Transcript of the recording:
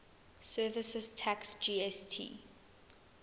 services tax gst